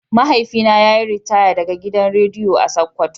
Mahaifina yayi ritaya daga gidan rediyo a sokoto.